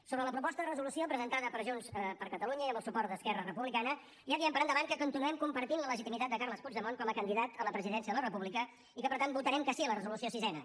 sobre la proposta de resolució presentada per junts per catalunya i amb el suport d’esquerra republicana ja diem per endavant que continuem compartint la legitimitat de carles puigdemont com a candidat a la presidència de la república i que per tant votarem que sí a la resolució sisena